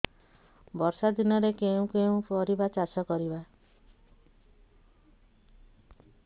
ବର୍ଷା ଦିନରେ କେଉଁ କେଉଁ ପରିବା ଚାଷ କରିବା